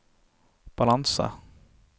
balanse